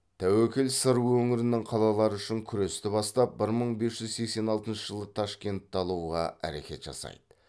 тәуекел сыр өңірінің қалалары үшін күресті бастап бір мың бес жүз сексен алтыншы жылы ташкентті алуға әрекет жасайды